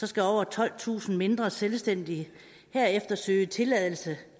skal over tolvtusind mindre selvstændige herefter søge tilladelse